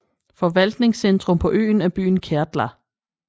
Forvaltningscentrum på øen er byen Kärdla